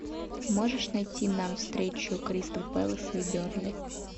можешь найти нам встречу кристал пэлас и бернли